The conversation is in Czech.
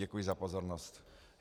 Děkuji za pozornost.